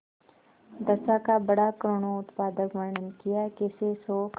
दशा का बड़ा करूणोत्पादक वर्णन कियाकैसे शोक